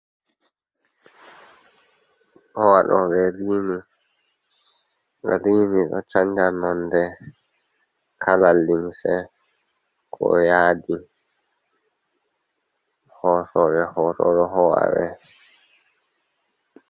Ɗo waɗoɓe rini, rini ɗo canja nonde, kala limse, ko yaadi. Hosoɓe hoto ɗo ho'a ɓe.